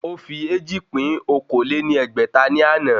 Ó fi éjì pín okòó lé ní ẹgbẹ́ta ní àná